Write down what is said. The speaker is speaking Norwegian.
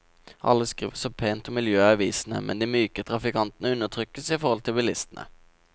Alle skriver så pent om miljøet i avisene, men de myke trafikantene undertrykkes i forhold til bilistene.